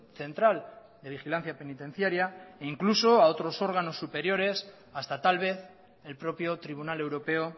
central de vigilancia penitenciaria e incluso a otros órganos superiores hasta tal vez el propio tribunal europeo